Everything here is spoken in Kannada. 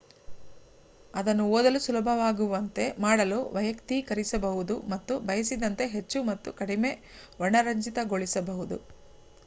ಅದನ್ನು ಓದಲು ಸುಲಭವಾಗುವಂತೆ ಮಾಡಲು ವಯಕ್ತೀಕರಿಸಬಹುದು ಮತ್ತು ಬಯಸಿದಂತೆ ಹೆಚ್ಚು ಮತ್ತು ಕಡಿಮೆ ವರ್ಣರಂಜಿತಗೊಳಿಸಬಹುದು